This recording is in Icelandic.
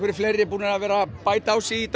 fleiri búnir að vera bæta á sig í dag